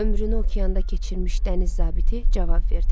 Ömrünü okeanda keçirmiş dəniz zabiti cavab verdi.